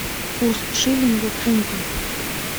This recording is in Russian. курс шиллинга к фунту